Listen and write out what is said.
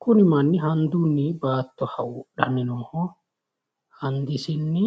kuni manni handunni baatto hawuudhanni nooho. handisinni